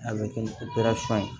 A bɛ kɛ ni ye